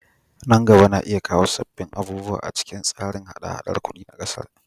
Nan gaba na iya kawo sabbin abubuwa a cikin tsarin haɗa-haɗar kudi na kasar.